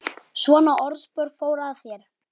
Svona orðspor fór af þér.